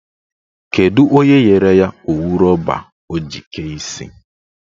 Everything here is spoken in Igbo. Kedụ onye nyere ya owu rọba ọ ji kee isi?